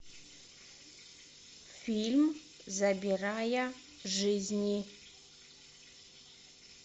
фильм забирая жизни